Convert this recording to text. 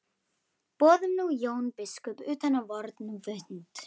Boðum nú Jón biskup utan á vorn fund.